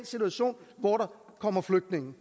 situation hvor der kommer flygtninge